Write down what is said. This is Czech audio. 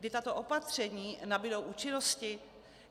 Kdy tato opatření nabudou účinnosti?